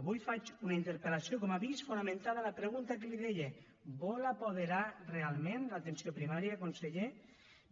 avui faig una interpel·lació com ha vist fonamentada en la pregunta que li deia vol apoderar realment l’atenció primària conseller